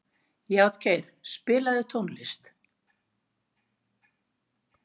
Játgeir, spilaðu tónlist.